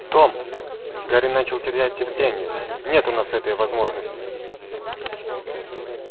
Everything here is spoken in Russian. том гарри начал терять терпение нет у нас этой возможности